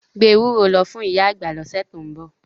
Gbé ewúro lọ fún ìyá àgbà lọ́sẹ̀ tó ń bọ̀.